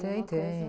Tem, tem.